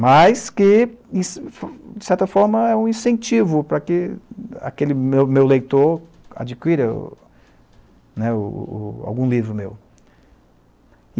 Mas que, de certa forma, é um incentivo para que aquele meu meu leitor adquira o o, né, o o algum livro meu.